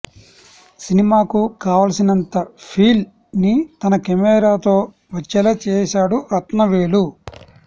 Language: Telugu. సినిమాకు కావాల్సినంత ఫీల్ ని తన కెమెరాతో వచ్చేలా చేశాడు రత్నవేలు